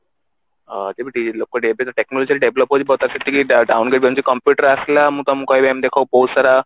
ଅ ଲୋକ ବି ଏବେ ତ technology ର develop ହଉଛି ଯେମତି କି computer ଆସିଲା ମୁଁ ତମକୁ ଏମତି ବହୁତ ସାରା